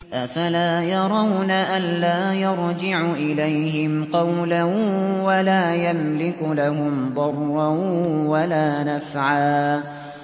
أَفَلَا يَرَوْنَ أَلَّا يَرْجِعُ إِلَيْهِمْ قَوْلًا وَلَا يَمْلِكُ لَهُمْ ضَرًّا وَلَا نَفْعًا